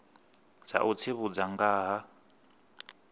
dza u tsivhudza nga ha